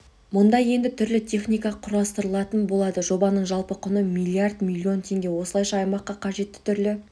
мұнда енді түрлі техника құрастырылатын болады жобаның жалпы құны млрд млн теңге осылайша аймаққа қажетті түрлі